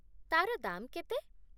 ତା'ର ଦାମ୍ କେତେ?